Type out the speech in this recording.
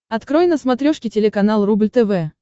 открой на смотрешке телеканал рубль тв